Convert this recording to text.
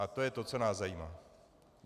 A to je to, co nás zajímá.